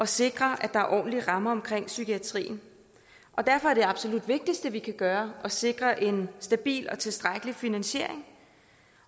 sikre ordentlige rammer for psykiatrien derfor er det absolut vigtigste vi kan gøre at sikre en stabil og tilstrækkelig finansiering